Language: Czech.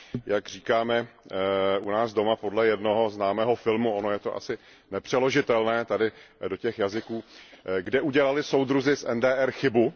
Jak říkáme u nás doma podle jednoho známého filmu, ono je to asi nepřeložitelné tady do těch jazyků Kde udělali soudruzi z NDR chybu?.